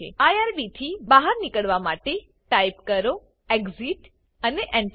IRB થી બહાર નીકડવા માટે ટાઈપ કરો એક્સિટ અને Enter